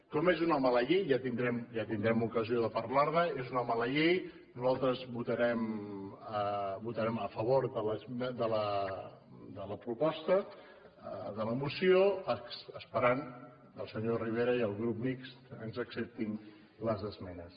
com és una mala llei ja tindrem ocasió de parlar ne és una mala llei nosaltres votarem a favor de la proposta de la moció esperant que el senyor rivera i el grup mixt ens acceptin les esmenes